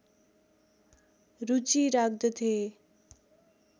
रुचि राख्दथे